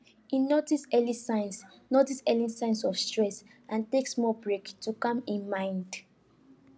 he notice early signs notice early signs of stress and take small break to calm him mind